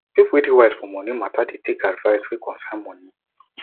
people wey dey wise for moni mata dey take advice wey concern moni